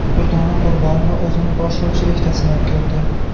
Durdona Qurbonova o‘zini boshlovchilikda sinab ko‘rdi.